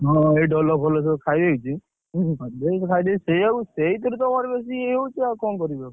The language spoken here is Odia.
ହଁ, ଏଇ ଫୋଲ ସବୁ ଖାଇଦେଇଛି। ସେଇଆକୁ ସେଇଥିରୁ ତମର ବେଶୀ ଇଏ ହଉଛି ଆଉ କଣ କରିବି ଆଉ